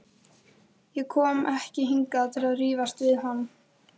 Ég kom ekki hingað til að rífast við hann.